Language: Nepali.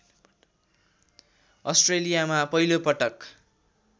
अस्ट्रेलियामा पहिलो पटक